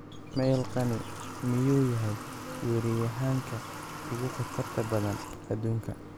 (Mail) Kani miyuu yahay weeraryahanka ugu khatarta badan adduunka?